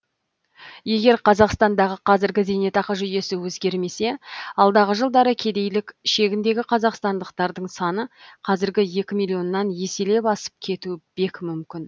егер қазақстандағы қазіргі зейнетақы жүйесі өзгермесе алдағы жылдары кедейлік шегіндегі қазақстандықтардың саны қазіргі екі миллионнан еселеп асып кетуі бек мүмкін